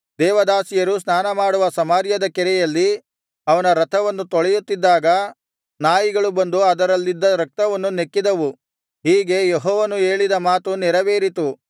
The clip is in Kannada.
ದೇವದಾಸಿಯರು ಸ್ನಾನಮಾಡುವ ಸಮಾರ್ಯದ ಕೆರೆಯಲ್ಲಿ ಅವನ ರಥವನ್ನು ತೊಳೆಯುತ್ತಿದ್ದಾಗ ನಾಯಿಗಳು ಬಂದು ಅದರಲ್ಲಿದ್ದ ರಕ್ತವನ್ನು ನೆಕ್ಕಿದವು ಹೀಗೆ ಯೆಹೋವನು ಹೇಳಿದ ಮಾತು ನೆರವೇರಿತು